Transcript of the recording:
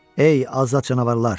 Ey azad canavarlar!